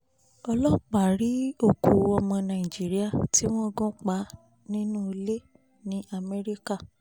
ọlọ́pàá rí òkú ọmọ nàìjíríà tí wọ́n gún pa nínú ilé ní amẹ́ríkà